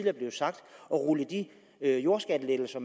er blevet sagt at rulle de jordskattelettelser